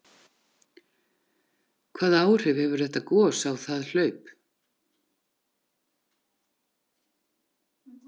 Hvaða áhrif hefur þetta gos á það hlaup?